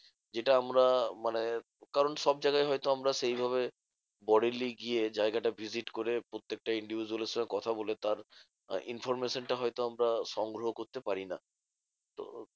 যেটা আমরা মানে কারণ সব জায়গায় হয়তো আমরা সেইভাবে গিয়ে জায়গাটা visit করে প্রত্যেকটা individual এর সঙ্গে কথা বলে তার information টা হয়ত আমরা সংগ্রহ করতে পারি না। তো